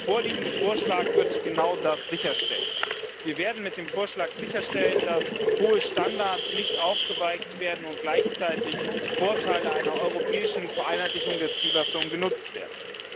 Der vorliegende Vorschlag wird genau das sicherstellen. Wir werden mit dem Vorschlag sicherstellen, dass hohe Standards nicht aufgeweicht werden und gleichzeitig Vorteile einer europäischen Vereinheitlichung der Zulassung genutzt werden.